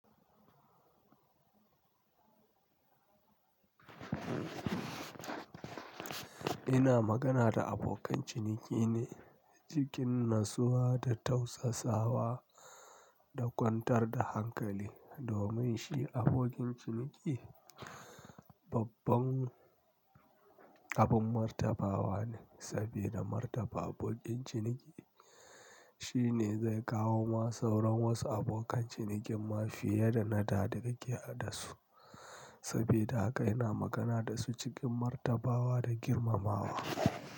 Ina magana da abokan ciniki ne cikin natsuwa da tausasawa da kwantar da hankali domin shi abokin ciniki babban abin martabawa ne sabida martaba abokin ciniki shine zai kawo ma sauran wasu abokan cinikin ma fiye da na da da kake da su sabida haka ina magana da su cikin martabawa da girmamawa.